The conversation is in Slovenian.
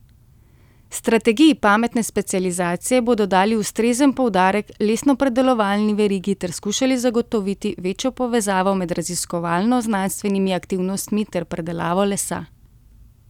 Strategiji pametne specializacije bodo dali ustrezen poudarek lesnopredelovalni verigi ter skušali zagotoviti večjo povezavo med raziskovalno znanstvenimi aktivnostmi ter predelavo lesa.